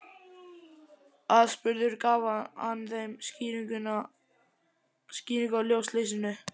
Aðspurður gaf hann þeim skýringu á ljósleysinu